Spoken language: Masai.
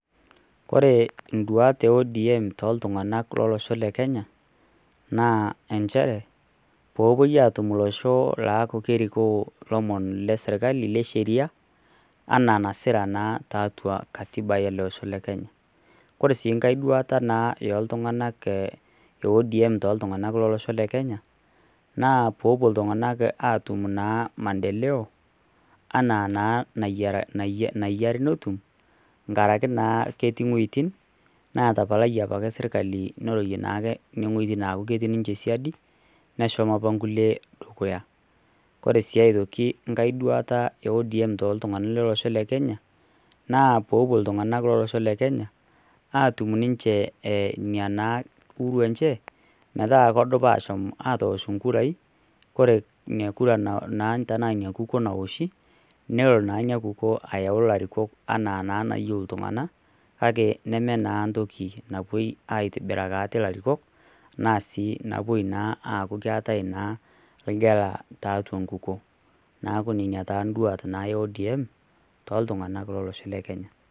koree iduat ee ODM toltung`anak lolosho le kenya naa inchere peyie epuoi atum olosho laariko ilomon lee serkali le sheria enaa nasira naa tiatua katiba ele osho le kenya oree sii nkae duata naa oltung`anak ee ODM toltunganak lolosho le kenya naa pepuo iltunganak atum naa maendeleo ena naa naiya netum nkaraki naa ketii iweitin naatapalayie apa serkali neitoki naa aaku ketii ninche siadi neshomo apa inkule dukuya koree si aitoki enkae duata ee ODM toltunganak lolosho le kenya naa peepuo iltunganak lolosho le kenya aatum ninche eina naa uhuru enche metaa kedupa ashom aatosh inkurai ore ina kura naa ina kukuo naoshi nelo naa ina kukuo ayau ilarikok anaa naa enayieu iltunganak kake nemee naa entoki napuoi aitobiraki are ilarikok naa sii napuo naa aaku keetae naa engala tiatua enkukuo neeku nenaa taa induat ee ODM toltunganak lolosho le kenya.